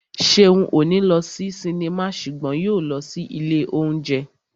Ṣeun ò ní lọ sí sinimá ṣùgbọ́n yóò lọ sí ilé óúnjẹ